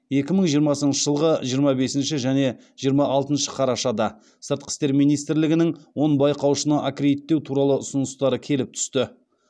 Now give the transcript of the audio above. екі мың жиырмасыншы жылғы жиырма бесінші және жиырма алтыншы қарашада сыртқы істер министрлігінің он байқаушыны аккредиттеу туралы ұсыныстары келіп түсті